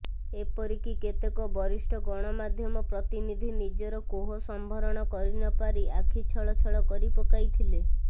ଏପରିକି କେତେକ ବରିଷ୍ଠ ଗଣମାଧ୍ୟମ ପ୍ରତିନିଧି ନିଜର କୋହ ସମ୍ୱରଣ କରିନପାରି ଆଖି ଛଳ ଛଳ କରିପକାଇଥିଲେ